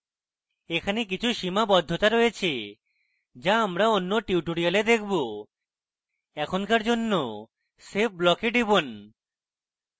এখানে কিছু সীমাবদ্ধতা রয়েছে যা আমরা অন্য tutorial দেখবো এখনকার জন্য save block we টিপুন